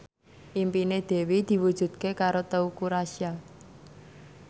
impine Dewi diwujudke karo Teuku Rassya